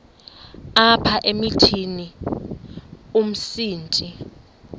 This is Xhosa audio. apha emithini umsintsi